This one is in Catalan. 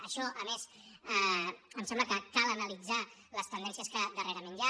a més em sembla que cal analitzar les tendències que darrerament hi ha